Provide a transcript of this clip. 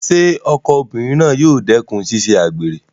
Ṣé ọkọ obìnrin náà yóò dẹ́kùn ṣíṣe àgbèrè?